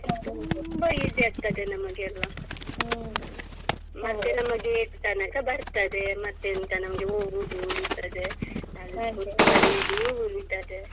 ತುಂಬಾ easy ಆಗ್ತದೆ ನಮಗೆಲ್ಲ ಮತ್ತೆ ನಮ್ಮ gate ತನಕ ಬರ್ತದೆ ಮತ್ತೆಂತ ನಮ್ಗೆ ಹೋಗುದು ಉಳಿತದೆ ಉಳಿತದೆ.